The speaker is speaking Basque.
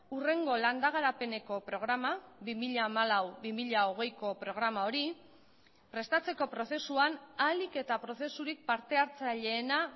hurrengo landagarapeneko programa bi mila hamalau bi mila hogeiko programa hori prestatzeko prozesuan ahalik eta prozesurik partehartzaileena